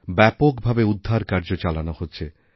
ব্যাপক ভাবে উদ্ধারকার্য চালানো হচ্ছে